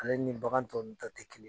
Ale nin bagan tɔ ninnu ta tɛ kelen.